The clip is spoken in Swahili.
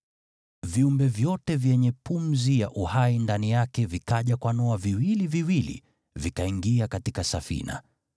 Viumbe vyote vyenye pumzi ya uhai ndani yake vikaja kwa Noa viwili viwili, vikaingia katika safina.